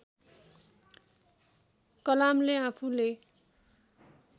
कलामले आफूले